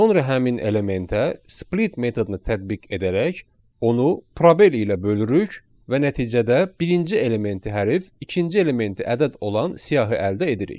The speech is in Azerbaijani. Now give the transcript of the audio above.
Sonra həmin elementə split metodunu tətbiq edərək onu probel ilə bölürük və nəticədə birinci elementi hərf, ikinci elementi ədəd olan siyahı əldə edirik.